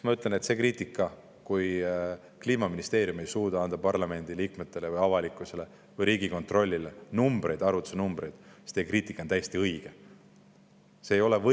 Ma ütlen, et kui Kliimaministeerium ei suuda anda parlamendi liikmetele, avalikkusele ega Riigikontrollile arvutuse numbreid, siis on teie kriitika täiesti.